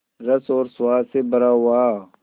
रस और स्वाद से भरा हुआ